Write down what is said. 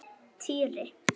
Týri!